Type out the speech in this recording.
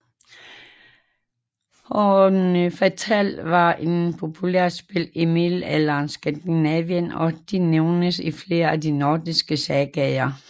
Hnefatafl var et populært spil i middelalderens Skandinavien og det nævnes i flere af de nordiske sagaer